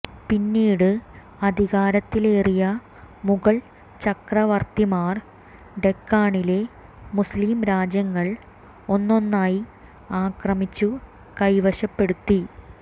പിന്നീട് അധികാരത്തിലേറിയ മുഗൾ ചക്രവർത്തിമാർ ഡെക്കാണിലെ മുസ്ലിം രാജ്യങ്ങൾ ഒന്നൊന്നായി ആക്രമിച്ചു കൈവശപ്പെടുത്തി